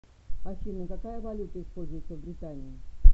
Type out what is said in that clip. афина какая валюта используется в британии